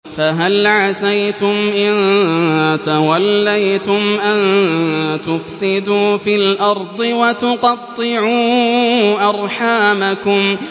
فَهَلْ عَسَيْتُمْ إِن تَوَلَّيْتُمْ أَن تُفْسِدُوا فِي الْأَرْضِ وَتُقَطِّعُوا أَرْحَامَكُمْ